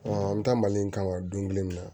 an bɛ taa mali in kama don kelen min na